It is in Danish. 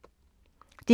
DR1